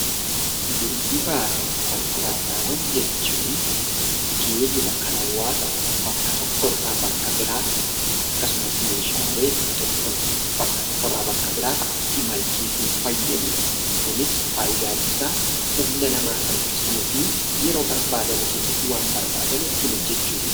Geejjibaa fi konkolaataawwan jechuun geejjibni kan hawwasa tokko bakka tokko irraa gara bakka biraatti akkasumas meeshaalee tokko bakka tokko irraa bakka biraatti imalchiisuuf fayyaduu dha. Kunis faayidaan isaa humna namaa salphisuu fi yeroo barbaadame keessatti waan barbaadame ittiin hojjeechuufi dha.